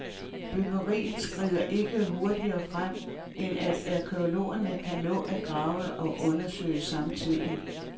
Byggeriet skrider ikke hurtigere frem, end at arkæologerne kan nå at grave og undersøge samtidig.